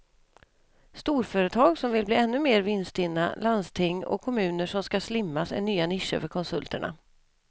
Storföretag som vill bli ännu mer vinststinna, landsting och kommuner som ska slimmas är nya nischer för konsulterna.